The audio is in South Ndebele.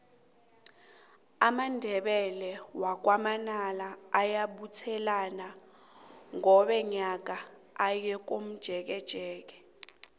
amandebele wakwa manala ayabuthelana qobe nyaka aye komjekejeke